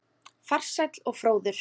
Farsæll og fróður.